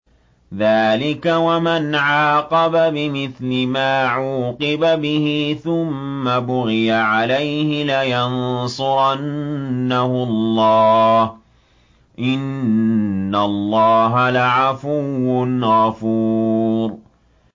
۞ ذَٰلِكَ وَمَنْ عَاقَبَ بِمِثْلِ مَا عُوقِبَ بِهِ ثُمَّ بُغِيَ عَلَيْهِ لَيَنصُرَنَّهُ اللَّهُ ۗ إِنَّ اللَّهَ لَعَفُوٌّ غَفُورٌ